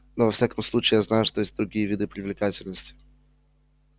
но во всяком случае я знаю что есть и другие виды привлекательности